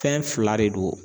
Fɛn fila de don